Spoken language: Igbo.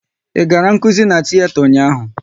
Ị gara nkụzi n'tiyeta ụnyaahụ?